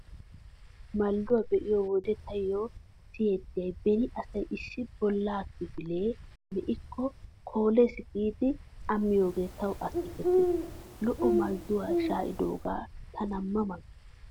Maldduwaa be'iyo wode taayyo siyettiyay beni asay issi bollaa kifilee me'ikko 'koolees 'giidi a miyoogee tawu akeekettees. Lo'o maldduwaa shaa'idoogaa tana ma ma gees.